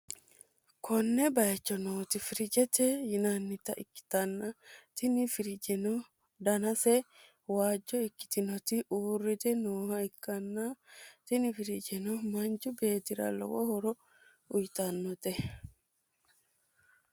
konne bayicho nooti firiijete yinannita ikkitanna, tini firiijeno danase waajjo ikkitinoti uurrite nooha ikknna, tini firiijeno manchu beettira lowo horo uytannote.